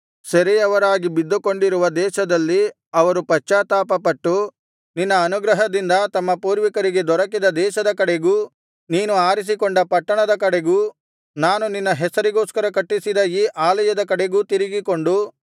ಸೆರೆಯವರಾಗಿ ಬಿದ್ದುಕೊಂಡಿರುವ ದೇಶದಲ್ಲಿ ಅವರು ಪಶ್ಚಾತ್ತಾಪಪಟ್ಟು ನಿನ್ನ ಅನುಗ್ರಹದಿಂದ ತಮ್ಮ ಪೂರ್ವಿಕರಿಗೆ ದೊರಕಿದ ದೇಶದ ಕಡೆಗೂ ನೀನು ಆರಿಸಕೊಂಡ ಪಟ್ಟಣದ ಕಡೆಗೂ ನಾನು ನಿನ್ನ ಹೆಸರಿಗೋಸ್ಕರ ಕಟ್ಟಿಸಿದ ಈ ಆಲಯದ ಕಡೆಗೂ ತಿರುಗಿಕೊಂಡು